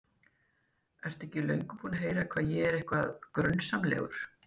Ertu ekki löngu búinn að heyra hvað ég er eitthvað. grunsamlegur?